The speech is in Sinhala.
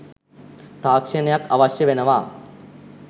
තාක්ෂණයක් අවශ්‍ය වෙනවා.